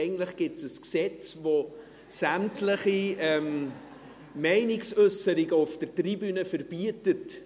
Eigentlich gibt es ein Gesetz, das sämtliche Meinungsäusserungen auf der Tribüne verbietet.